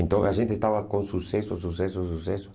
Então a gente estava com sucesso, sucesso, sucesso.